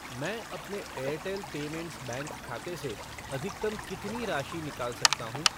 मैं अपने Airtel payments bank खाते से अधिकतम कितनी राशि निकाल सकता हूँ?